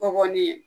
Bɔgɔnin ye